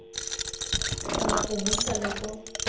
kgona go buisa le go